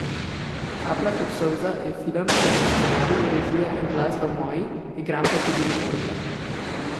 Kaplja kot solza je film, kjer so scenarij, režija in glasba moji, igram tudi na orgle.